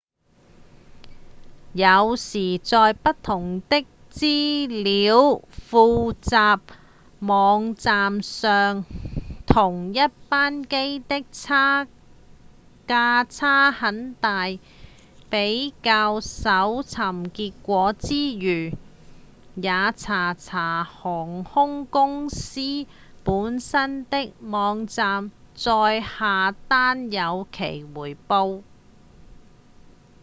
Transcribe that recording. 有時在不同的資料彙集網站上同一班機的價差很大比較搜尋結果之餘也查查看航空公司本身的網站再下單有其回報